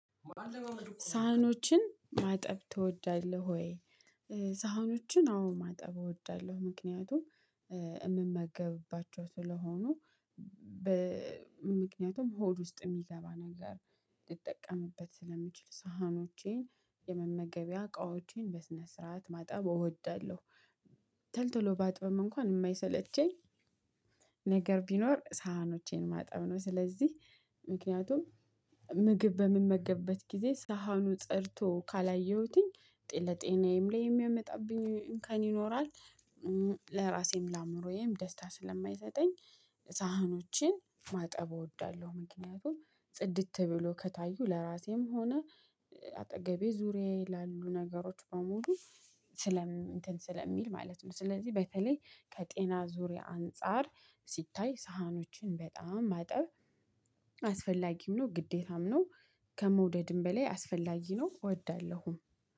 ሳህኖችን ማጠብ ትወዳለህ ወይ? ሳህኖችን አዎ ማጠብ እወዳለሁ ምክንያቱም እምመገብባቸው ስለሆኑ። ምክንያቱም ሆድ ውስጥ እሚገባ ነገር ልጠቀምበት ስለምችል ሳህኖቼን የመመገቢያ እቃዎቼን በስነ ስርዓት ማጠብ እወዳለሁ። ተልቶሎ ባጥብም እንኳን የማይሰለቸኝ ነገር ቢኖር ሳህኖቼን ማጠብ ነው። ስለዚህ ምክንያቱም ምግብ በምመገብበት ጊዜ ሳህኑ ፀድቶ ካላየሁትኝ ለጤናዬም ላይ የሚያመጣብኝ እንከን ይኖራል። ለራሴም ለአእምሮዬም ደስታ ስለማይሰጠኝ ሳህኖችን ማጠብ እወዳለሁ። ምክንያቱም ጽድት ብሎ ከታዩ ለራሴም ሆነ አጠገቤ ዙሪያዬ ላሉ ነገሮች በሙሉ እንትን ስለሚል ማለት ነው። ስለዚህ በተለይ ከጤና ዙሪያ አንፃር ሲታይ ሳህኖችን በጣም ማጠብ አስፈላጊም ነው ግዴታም ነው። ከመውደድም በላይ አስፈላጊ ነው እወዳለሁ